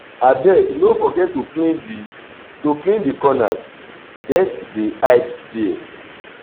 abeg no forget to clean di to clean di corners dirt dey hide there.